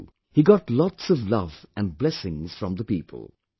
There too, he got lots of love and blessings from the people